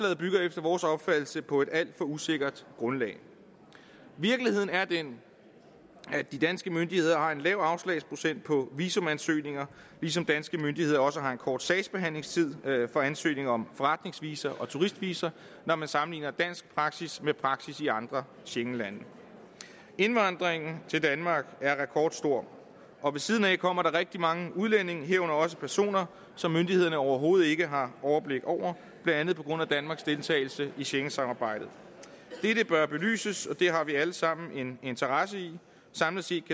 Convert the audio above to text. bygger efter vores opfattelse på et alt for usikkert grundlag virkeligheden er den at de danske myndigheder har en lav afslagsprocent på visumansøgninger ligesom danske myndigheder også har en kort sagsbehandlingstid for ansøgninger om forretningsvisa og turistvisa når man sammenligner dansk praksis med praksis i andre schengenlande indvandringen til danmark er rekordstor og ved siden af kommer der rigtig mange udlændinge herunder også personer som myndighederne overhovedet ikke har overblik over blandt andet på grund af danmarks deltagelse i schengensamarbejdet dette bør belyses og det har vi alle sammen en interesse i samlet set